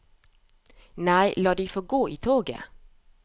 Nei, la de få gå i toget.